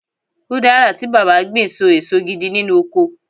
udara ti baba gbin so eso gidi nínú ọkọ